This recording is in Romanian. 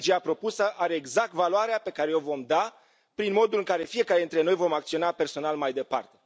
Strategia propusă are exact valoarea pe care i o vom da prin modul în care fiecare dintre noi vom acționa personal mai departe.